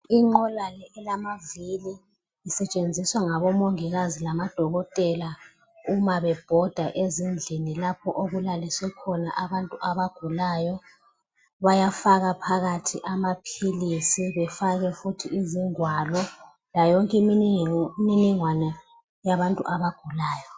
Inqola le elamavili isetshenziswa ngabomongikazi lamodokotela uma bebhoda ezindlini lapho okulaliswe khona abantu abagulayo. Bayafaka phakathi amaphilisi befake futhi izingwalo layo yonke imininingwana yabantu abagulayo.